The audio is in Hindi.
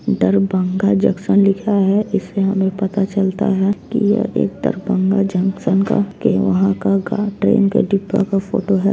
दरभंगा जंक्शन लिखा है इससे हमें पता चलता है की यह एक दरभंगा जंक्शन का के वहाँ का ट्रेन का डिब्बा का फोटो है।